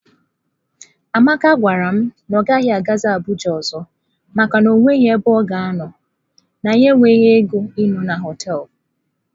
Amaka gwara m na ya agaghị aga Abuja ọzọ maka na o nweghị ebe ọ ga-anọ, na ya enweghịkwa ego ịnọ na hoteelu.